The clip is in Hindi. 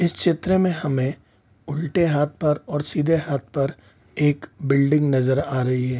इस चित्र में हमें उल्टे हाथ पर और सीधे हाथ पर एक बिल्डिंग नजर आ रही है।